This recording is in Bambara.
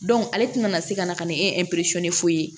ale tɛna na se ka na ka na ni foyi ye